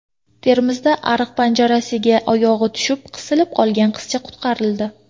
Termizda ariq panjarasiga oyog‘i tushib qisilib qolgan qizcha qutqarildi.